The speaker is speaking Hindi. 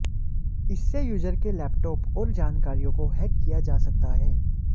इससे यूजर के लैपटाप और जानकारियों को हैक किया जाता है